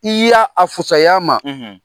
I y'a a fusaya ma